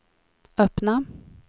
öppna